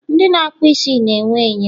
ndị na akpụ isi na enwe enyo